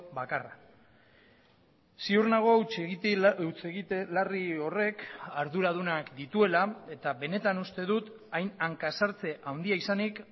bakarra ziur nago hutsegite larri horrek arduradunak dituela eta benetan uste dut hain hanka sartze handia izanik